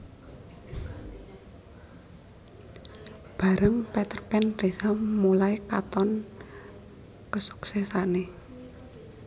Bareng Peterpan Reza mulai katon kesuksesané